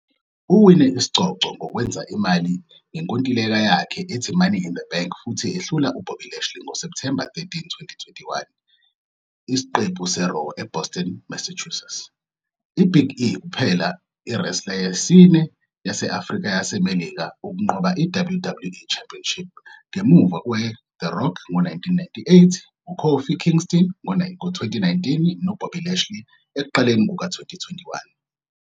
Uwine isicoco ngokwenza imali ngenkontileka yakhe ethi Money in the Bank futhi ehlula uBobby Lashley ngoSepthemba 13, 2021, isiqephu "seRaw" eBoston, Massachusetts. I-Big E kuphela i-wrestler yesine yase-Afrika-yaseMelika ukunqoba i-WWE Championship, ngemuva kwe- The Rock ngo-1998, u- Kofi Kingston ngo-2019, no-Bobby Lashley ekuqaleni kuka-2021.